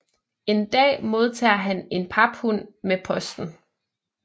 En dag modtager han en paphund med posten